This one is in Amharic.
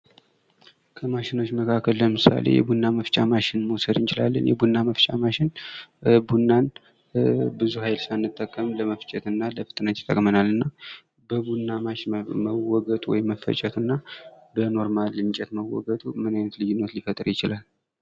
ከማሽኖች መካከል ለምሳሌ የቡና መፍጫ ማሽኖችን መውሰድ እንችላለን። የቡና መፍጫ ማሽኖች ቡናን ብዙ ሀይል ሳንጠቀም ለመፍጨት እና ለፍጥነት ይጠቅመናል። እና በቡና ማሽን መወገጡ ወይም መፈጨት እና በኖርማል እንጨት መወገጡ ምን አይነት ልይነት ሊፈጥር ይችላል?